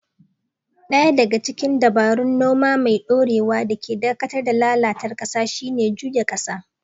Ɗaya daga cikin dabarun noma mai ɗorewa da ke dakatar da lalata ƙasa shine juyawa ƙasa.